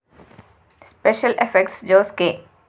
special effects Jose K